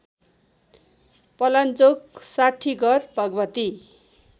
Palanchok Sathighar Bhagwati